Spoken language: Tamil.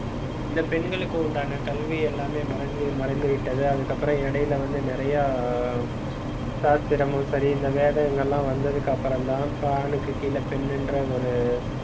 இந்த பெண்களுக்கு உண்டான, கல்வி எல்லாமே மறைஞ்சி மறைந்துவிட்டது. அதுக்கப்புறம், இடையில வந்து நிறைய சாஸ்திரமும் சரி இந்த வேதங்கள் எல்லாம் வந்ததுக்கு அப்புறம்தான் இப்ப ஆணுக்கு கீழே பெண் என்ற ஒரு,